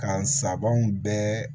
Ka n sabanan bɛɛ